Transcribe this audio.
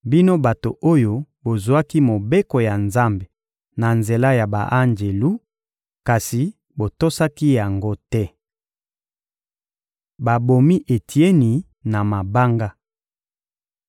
bino bato oyo bozwaki Mobeko ya Nzambe na nzela ya ba-anjelu, kasi botosaki yango te. Babomi Etieni na mabanga